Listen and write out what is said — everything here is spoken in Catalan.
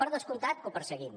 per descomptat que ho perseguim